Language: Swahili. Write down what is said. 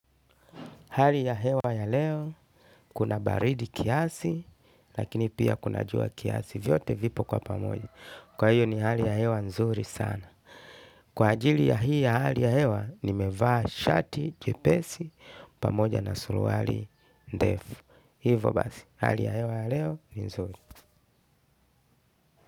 Hali ya hewa ya leo, kuna baridi kiasi, lakini pia kuna jua kiasi, vyote vipo kwa pamoja. Kwa hiyo ni hali ya hewa nzuri sana. Kwa ajili ya hii ya hali ya hewa, nimevaa shati, jepesi, pamoja na suruali, ndefu. Hivo basi, hali ya hewa ya leo, ni nzuri.